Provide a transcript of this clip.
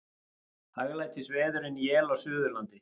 Hæglætisveður en él á Suðurlandi